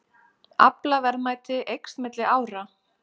Aflaverðmæti eykst milli ára